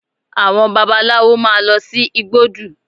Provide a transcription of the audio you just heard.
Àwọn babaláwo máa lọ sí igbódù